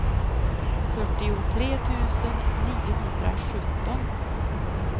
fyrtiotre tusen niohundrasjutton